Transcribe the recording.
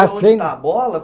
Acende. Aonde está a bola?